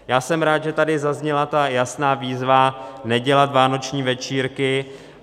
Já jsem rád, že tady zazněla ta jasná výzva nedělat vánoční večírky.